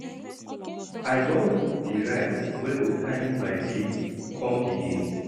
I don book di ride wey go carry my babe come di date.